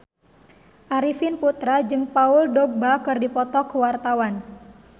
Arifin Putra jeung Paul Dogba keur dipoto ku wartawan